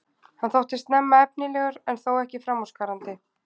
Hann þótti snemma efnilegur en þó ekki framúrskarandi.